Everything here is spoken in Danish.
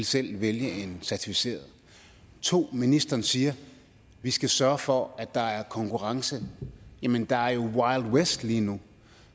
selv ville vælge en certificeret og 2 ministeren siger vi skal sørge for at der er konkurrence jamen der er jo wild west lige nu